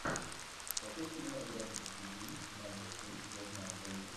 скачай кинематографический фильм майкл шин я знаю твои секреты